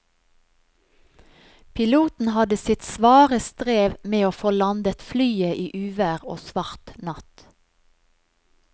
Piloten hadde sitt svare strev med å få landet flyet i uvær og svart natt.